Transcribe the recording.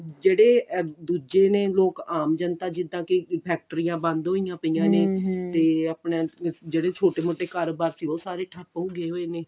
ਜਿਹੜੇ ਦੂਜੇ ਨੇ ਲੋਕ ਆਮ ਜੰਤਾ ਜਿੱਦਾਂ ਕੇ ਫ਼ੈਕਟਰੀਆਂ ਬੰਦ ਹੋਈਆਂ ਪਾਈਆਂ ਨੇ ਤੇ ਆਪਣਾ ਜਿਹੜੇ ਛੋਟੇ ਮੋਟੇ ਕਾਰੋਬਾਰ ਸੀ ਉਹ ਸਾਰੇ ਠੱਪ ਹੋਗੇ ਹੋਏ ਨੇ